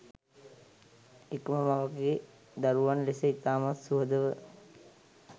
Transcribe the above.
එකම මවගේ දරුවන් ලෙස ඉතාමත් සුහදව